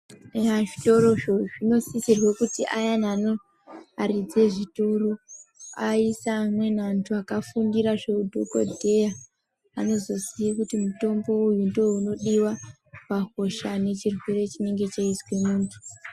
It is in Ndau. Eya zvitoro zvo zvino sisirwa kuti ayani ano aridzi e zvitoro aiise amweni antu aka fundira zve u dhokodheya anozoziye kuti mutombo uyu ndo unodiwa pa hosha ne chirwere chinenge cheizwe muntu.